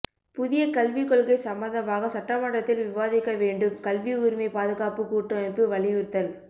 புதிய கல்விக் கொள்கை சம்பந்தமாக சட்டமன்றத்தில் விவாதிக்க வேண்டும் கல்வி உரிமை பாதுகாப்புக் கூட்டமைப்பு வலியுறுத்தல்